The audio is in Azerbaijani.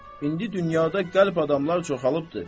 İndi dünyada qəlb adamlar çoxalılıbdır.